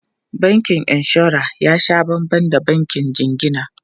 Bankin inshora ya sha banban da bankin jingina.